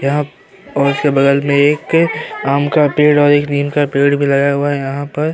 यहाँ और उसके बगल में एक आम का पेड़ और एक नीम का पेड़ भी लगाया हुआ है यहाँ पर।